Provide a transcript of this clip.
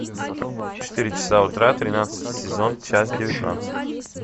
четыре часа утра тринадцатый сезон часть девятнадцать